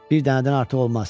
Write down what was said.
Bir dənədən artıq olmaz.